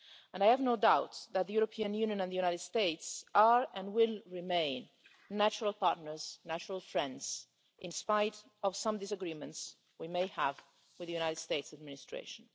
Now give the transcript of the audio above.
I have no doubt that the European Union and the USA are, and will remain, natural partners and natural friends in spite of some disagreements we may have with the US administration.